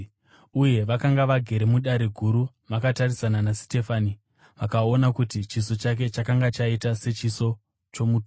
Vose vakanga vagere muDare Guru vakatarisisa Sitefani vakaona kuti chiso chake chakanga chaita sechiso chomutumwa.